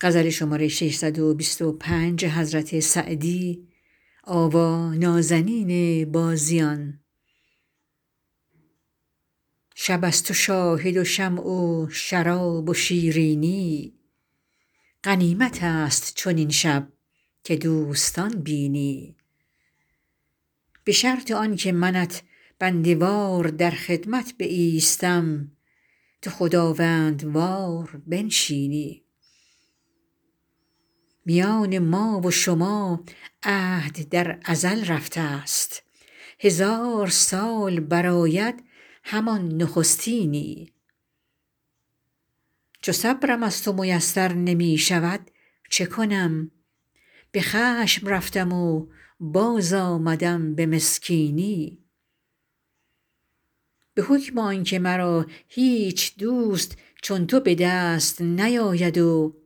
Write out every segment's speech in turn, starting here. شب است و شاهد و شمع و شراب و شیرینی غنیمت است چنین شب که دوستان بینی به شرط آن که منت بنده وار در خدمت بایستم تو خداوندوار بنشینی میان ما و شما عهد در ازل رفته ست هزار سال برآید همان نخستینی چو صبرم از تو میسر نمی شود چه کنم به خشم رفتم و باز آمدم به مسکینی به حکم آن که مرا هیچ دوست چون تو به دست نیاید و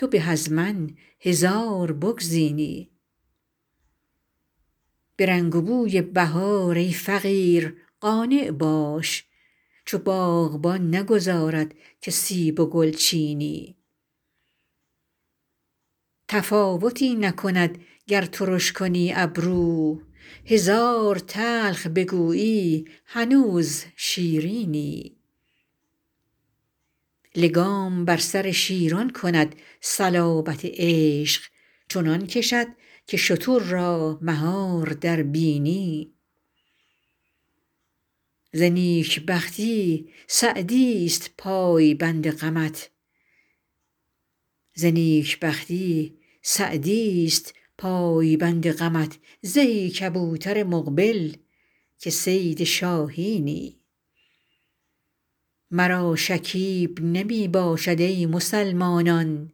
تو به از من هزار بگزینی به رنگ و بوی بهار ای فقیر قانع باش چو باغبان نگذارد که سیب و گل چینی تفاوتی نکند گر ترش کنی ابرو هزار تلخ بگویی هنوز شیرینی لگام بر سر شیران کند صلابت عشق چنان کشد که شتر را مهار در بینی ز نیک بختی سعدی ست پایبند غمت زهی کبوتر مقبل که صید شاهینی مرا شکیب نمی باشد ای مسلمانان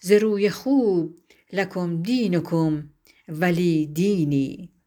ز روی خوب لکم دینکم ولی دینی